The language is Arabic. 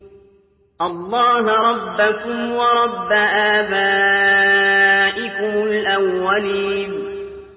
اللَّهَ رَبَّكُمْ وَرَبَّ آبَائِكُمُ الْأَوَّلِينَ